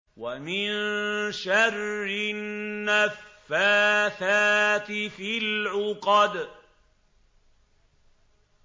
وَمِن شَرِّ النَّفَّاثَاتِ فِي الْعُقَدِ